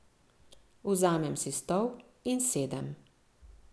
Vzamem si stol in sedem.